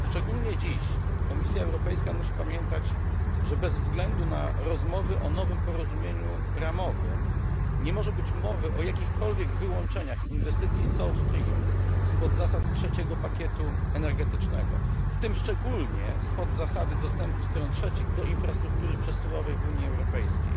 Szczególnie dziś Komisja Europejska musi pamiętać, że bez względu na rozmowy o nowym porozumieniu ramowym nie może być mowy o jakichkolwiek wyłączeniach inwestycji South Stream spod zasad trzeciego pakietu energetycznego, w tym szczególnie spod zasady dostępu stron trzecich do infrastruktury przesyłowej w Unii Europejskiej.